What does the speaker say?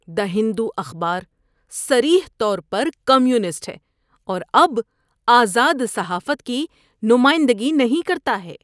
دی ہندو اخبار صریح طور پر کمیونسٹ ہے اور اب آزاد صحافت کی نمائندگی نہیں کرتا ہے